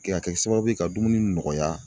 Kɛ ka kɛ sababu ye ka dumuni nɔgɔya